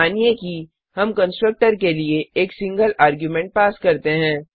मानिए कि हम कंस्ट्रक्टर के लिए एक सिंगल आर्ग्युमेंट्स पास करते हैं